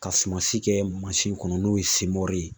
Ka suma si kɛ kɔnɔ n'o ye ye